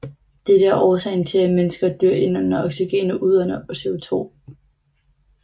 Dette er årsagen til at mennesker og dyr indånder oxygen og udånder CO2